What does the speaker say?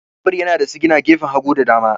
Babur yana da sigina gefen hagu da dama.